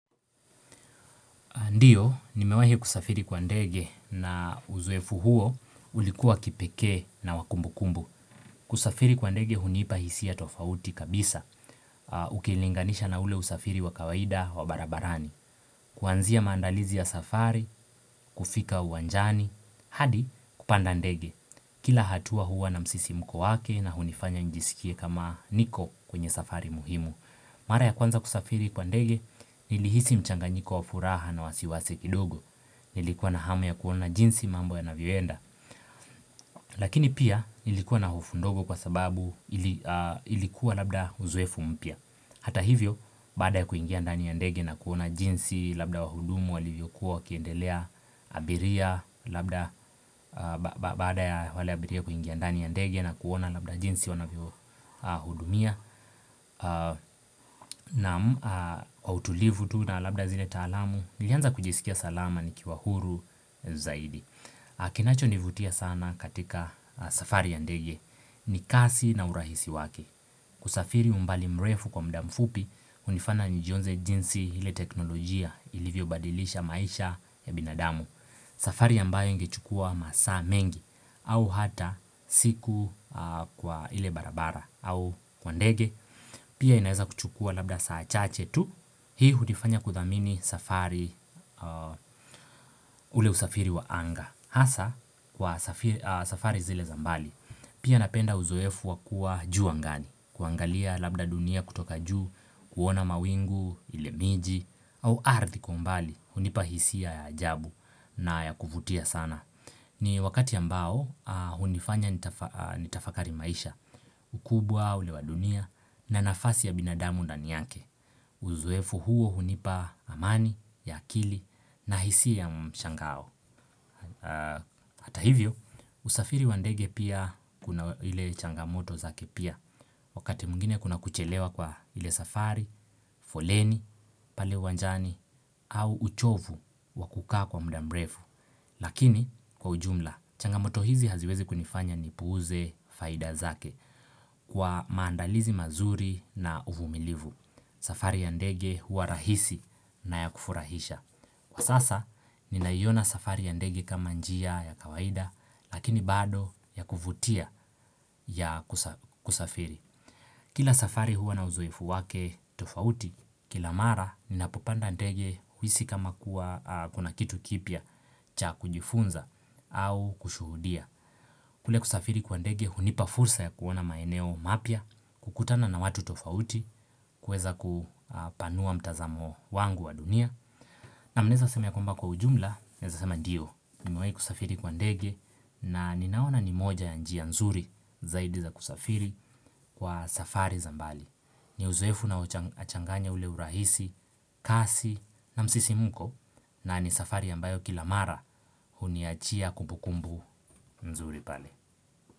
Ndiyo, nimewahi kusafiri kwa ndege na uzoefu huo ulikuwa kipeke na wakumbukumbu. Kusafiri kwa ndege hunipa hisia tofauti kabisa.A Ukilinganisha na ule usafiri wa kawaida wa barabarani. Kuanzia maandalizi ya safari, kufika uwanjani, hadi, kupanda ndege. Kila hatua huwa na msisimko wake na hunifanya njisikie kama niko kwenye safari muhimu. Mara ya kwanza kusafiri kwa ndege, nilihisi mchanganyiko wa furaha na wasiwasi kidogo. Nilikuwa na hamu ya kuona jinsi mambo yanavyoenda Lakini pia, nilikuwa na hofu ndogo kwa sababu ili a ilikuwa labda uzoefu mpya. Hata hivyo, baada ya kuingia ndani ya ndege na kuona jinsi labda wahudumu walivyokuwa wakiendelea, abiria labda, a ba ba baada ya wale abiria kuingia ndani ya ndege na kuona labda jinsi wanavyo a hudumia a naam, a autulivu tu na labda zile taalamu, nilianza kujisikia salama nikiwa huru zaidi. A kinachonivutia sana katika a safari ya ndege, ni kasi na urahisi wake. Kusafiri umbali mrefu kwa mda mfupi, hunifana nijionze jinsi hile teknolojia ilivyo badilisha maisha ya binadamu. Safari ambayo ingechukua masaa mengi, au hata siku a kwa ile barabara au kwa ndege Pia inaeza kuchukua labda saa chache tu. Hii hunifanya kuthamini safari a ule usafiri wa anga. Hasa, kwa safi a safari zile za mbali. Pia napenda uzoefu wa kuwa juu angani, kuangalia labda dunia kutoka juu, kuona mawingu, ile miji, au ardhi kwa umbali, hunipa hisia ya ajabu na ya kuvutia sana. Ni wakati ambao, a hunifanya ntafa nitafakari maisha. Ukubwa, ule wa dunia, na nafasi ya binadamu ndani yake. Uzoefu huo hunipa amani, ya akili, na hisia ya mshangao. Aa Hata hivyo, usafiri wa ndege pia kuna ile changamoto zake pia. Wakati mwingine kuna kuchelewa kwa ile safari, foleni, pale uwanjani, au uchovu, wakukaa kwa mda mrefu. Lakini, kwa ujumla, changamoto hizi haziwezi kunifanya nipuuze faida zake. Kwaa maandalizi mazuri, na uvumilivu. Safari ya ndege huwa rahisi, na ya kufurahisha. Kwa sasa, ninaiona safari ya ndege kama njia ya kawaida, lakini bado ya kuvutia, ya kusa kusafiri. Kila safari huwa na uzoefu wake tofauti. Kila mara, ninapopanda ndege, huisi kama kuwa a kuna kitu kipya, cha kujifunza, au kushuhudia. Kule kusafiri kwa ndege hunipa fursa ya kuona maeneo mapya, kukutana na watu tofauti, kuweza ku a panua mtazamo wangu wa dunia. Naam naeza sema ya kwamba kwa ujumla, naeza sema ndio. Nimewahi kusafiri kwa ndege, na ninaona ni moja ya njia nzuri zaidi za kusafiri Kwa safari za mbali. Ni uzoefu na ucha changanya ule urahisi, kasi, na msisimko, na ni safari ambayo kila mara, huniachia kumbukumbu mzuri pale.